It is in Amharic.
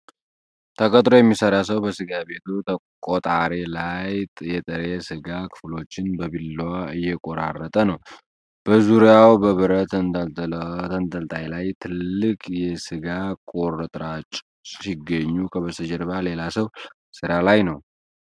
ተቀጥሮ የሚሰራ ሰው በስጋ ቤቱ ቆጣሪ ላይ የጥሬ ስጋ ክፍሎችን በቢላዋ እየቆራረጠ ነው። በዙሪያው በብረት ተንጠልጣይ ላይ ትልቅ የስጋ ቁርጥራጮች ሲገኙ፣ ከበስተጀርባ ሌላ ሰው ሥራ ላይ ነው።